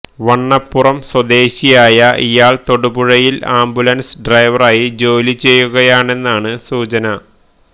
വണ്ണപ്പുറം സ്വദേശിയായ ഇയാള് തൊടുപഴയില് ആംബുലന്സ് ഡ്രൈവറായി ജോലി ചെയ്യുകയാണെന്നാണ് സൂചന